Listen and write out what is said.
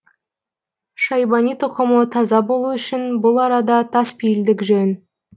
шайбани тұқымы таза болу үшін бұл арада таспейілдік жөн